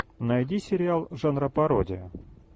найди сериал жанра пародия